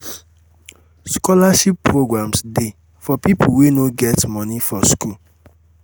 scholarship programmes de for pipo wey no um get moni for um school